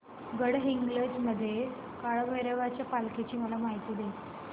गडहिंग्लज मधील काळभैरवाच्या पालखीची मला माहिती दे